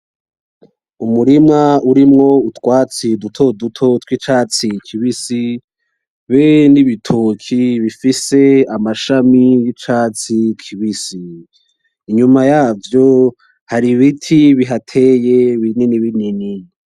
Umurima urimo utwatsi dutoduto twicatsi tubisi turi nibitoki bifise amashami yicatsi kibisi inyuma yavyo har’ibintu bihateye binini binini.